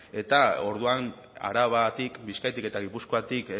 eta orduan arabatik bizkaitik eta gipuzkoatik